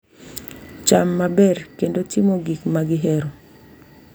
Cham maber, kendo timo gik ma gihero